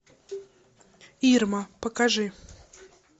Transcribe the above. ирма покажи